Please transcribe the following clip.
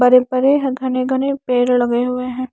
बड़े बड़े घने घने पेड़ लगे हुए हैं।